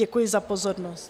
Děkuji za pozornost.